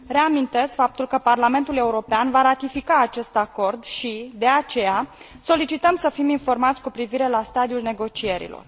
Reamintesc faptul că Parlamentul European va ratifica acest acord și, de aceea, solicităm să fim informați cu privire la stadiul negocierilor.